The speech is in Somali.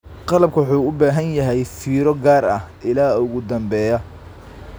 Qalabku wuxuu u baahan yahay fiiro gaar ah ilaa ugu dambeeya.